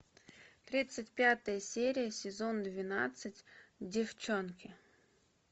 тридцать пятая серия сезон двенадцать деффчонки